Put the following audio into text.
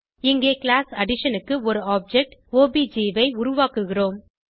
இங்கே class addition க்கு ஒரு ஆப்ஜெக்ட் ஒப்ஜ் ஐ உருவாக்குகிறோம்